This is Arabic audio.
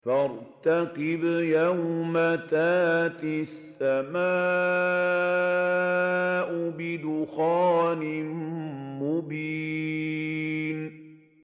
فَارْتَقِبْ يَوْمَ تَأْتِي السَّمَاءُ بِدُخَانٍ مُّبِينٍ